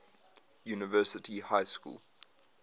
university high school